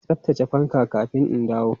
Tsaftace fanka kafin in dawo!